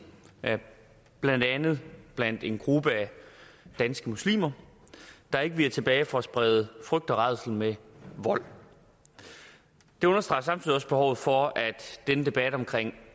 blandt andet blandt en gruppe af danske muslimer der ikke viger tilbage for at sprede frygt og rædsel med vold det understreger samtidig også behovet for denne debat om